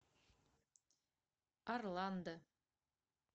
орландо